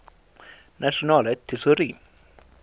nasionale tesourie